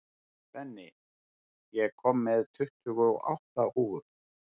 Benný, ég kom með tuttugu og átta húfur!